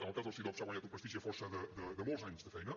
en el cas del cidob s’ha guanyat un prestigi a força de molts anys de feina